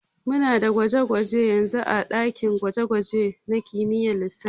Muna da gwaje-gwaje yanzun ã dakin gwaje-gwaje nã kimiyyar lissafi.